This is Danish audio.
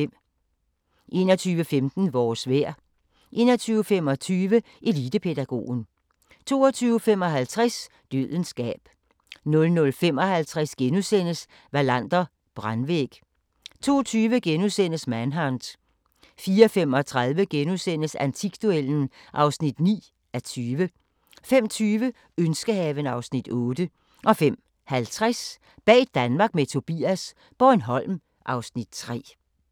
21:15: Vores vejr 21:25: Elitepædagogen 22:55: Dødens gab 00:55: Wallander: Brandvæg * 02:20: Manhunt * 04:35: Antikduellen (9:20)* 05:20: Ønskehaven (Afs. 8) 05:50: Bag Danmark med Tobias - Bornholm (Afs. 3)